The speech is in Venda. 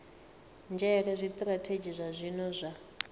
nzhele zwitirathedzhi zwa zwino zwa